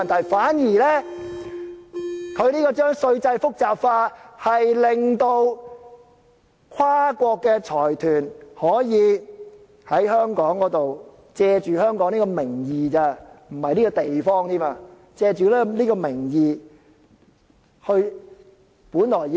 相反，將稅制複雜化，令跨國財團可以在香港，借香港的名義，不是借這個地方，而是借這個名義來......